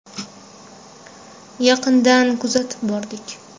Yaqindan kuzatib bordik.